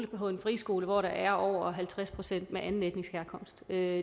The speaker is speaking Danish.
på en friskole hvor der er over halvtreds procent af anden etnisk herkomst vil jeg